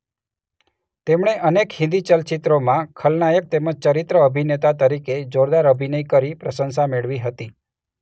તેમણે અનેક હિંદી ચલચિત્રોમાં ખલનાયક તેમજ ચરિત્ર અભિનેતા તરીકે જોરદાર અભિનય કરી પ્રશંસા મેળવી હતી.